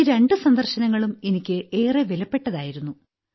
ഈ രണ്ട് സന്ദർശനങ്ങളും എനിക്ക് ഏറെ വിലപ്പെട്ടതായിരുന്നു